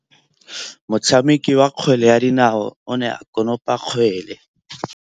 Motshameki wa kgwele ya dinaô o ne a konopa kgwele.